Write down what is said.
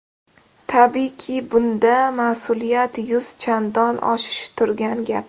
Tabiiyki, bunda mas’uliyat yuz chandon oshishi turgan gap!